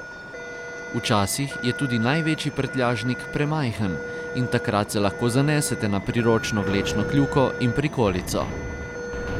Včasih je tudi največji prtljažnik premajhen in takrat se lahko zanesete na priročno vlečno kljuko in prikolico.